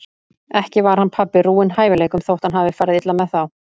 Ekki var hann pabbi rúinn hæfileikum þótt hann hafi farið illa með þá.